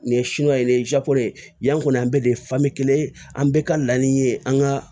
Nin ye de ye yan kɔni an bɛɛ de ye kelen ye an bɛɛ ka laɲini ye an ka